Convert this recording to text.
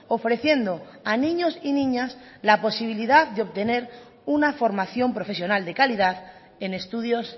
ofreciendo a niños y niñas la posibilidad de obtener una formación profesional de calidad en estudios